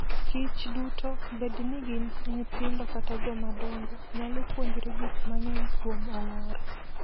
kichduto, bed ni gin nyithindo kata joma dongo, nyalo puonjore gik mang'eny kuom ong'or.